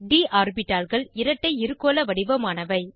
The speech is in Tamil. ட் ஆர்பிட்டால்கள் இரட்டை இருகோள வடிவமானவை